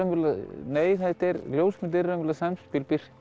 nei ljósmynd er samspil birtu